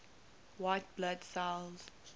white blood cells